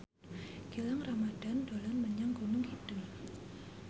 Gilang Ramadan dolan menyang Gunung Kidul